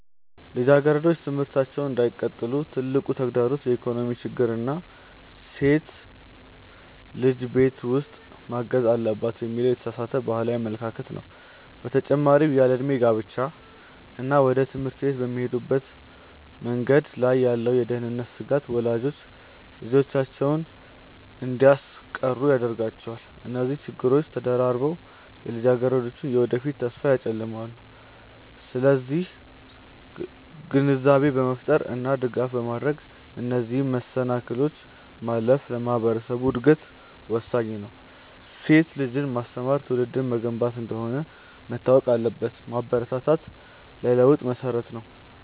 ልጃገረዶች ትምህርታቸውን እንዳይቀጥሉ ትልቁ ተግዳሮት የኢኮኖሚ ችግር እና ሴት ልጅ ቤት ውስጥ ማገዝ አለባት የሚለው የተሳሳተ ባህላዊ አመለካከት ነው። በተጨማሪም ያለዕድሜ ጋብቻ እና ወደ ትምህርት ቤት በሚሄዱበት መንገድ ላይ ያለው የደህንነት ስጋት ወላጆች ልጆቻቸውን እንዲያስቀሩ ያደርጋቸዋል። እነዚህ ችግሮች ተደራርበው የልጃገረዶችን የወደፊት ተስፋ ያጨልማሉ። ስለዚህ ግንዛቤ በመፍጠር እና ድጋፍ በማድረግ እነዚህን መሰናክሎች ማለፍ ለማህበረሰቡ እድገት ወሳኝ ነው። ሴት ልጅን ማስተማር ትውልድን መገንባት እንደሆነ መታወቅ አለበት። ማበረታታት ለለውጥ መሰረት ነው።